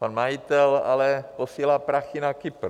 Pan majitel ale posílá prachy na Kypr.